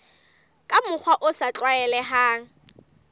ka mokgwa o sa tlwaelehang